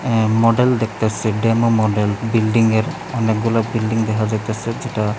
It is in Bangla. অ্যা মডেল দেখত্যাসি ডেমো মডেল বিল্ডিংয়ের অনেকগুলা বিল্ডিং দেখা যাইত্যাসে যেটা--